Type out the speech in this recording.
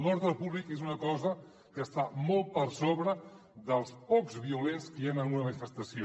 l’ordre públic és una cosa que està molt per sobre dels pocs violents que hi han en una manifestació